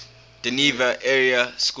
dover area school